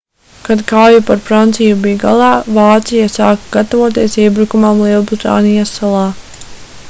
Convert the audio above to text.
kad kauja par franciju bija galā vācija sāka gatavoties iebrukumam lielbritānijas salā